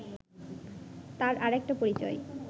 তার আর একটা পরিচয়